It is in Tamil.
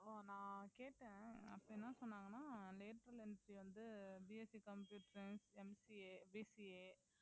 ஓ நான் கேட்டேன் அப்ப என்ன சொன்னாங்கன்னா lateral entry வந்து BSC computer scienceMCABCA